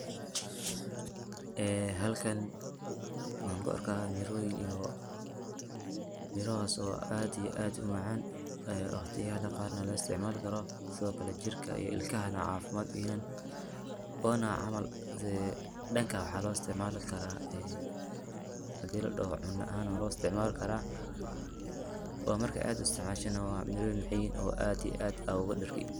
Ee halkan waxan ku arkaa mirooyin, mirahas oo aad iyo aad umacaan waqtiyal qar na la isticmaali karo sidokale jirka iyo ilkanaha caafimad uyahan ona camal dhanka waxaa loo isticmaalikaraa ee hadii ladhoho cuna ahan waa loo isticmaali karaa, waa marki aad u isticmaasho na mirooyin maxay yihin oo aad iyo aad ad oga dhergi